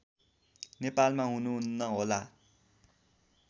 नेपालमा हुनुहुन्न होला